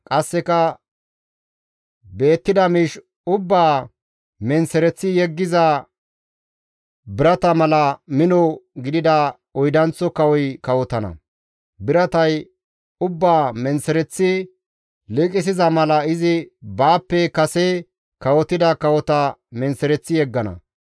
Qasseka beettida miish ubbaa menththereththi yeggiza birata mala mino gidida oydanththo kawoy kawotana; biratay ubbaa menththereththi liiqisiza mala izi baappe kase kawotida kawota menththereththi yeggana.